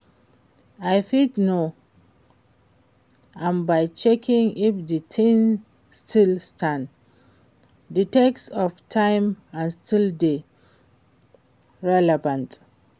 I fit know am by checking if di thing still stand di test of time and still dey relevant.